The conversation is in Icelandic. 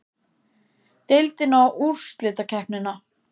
Deildina og úrslitakeppnina?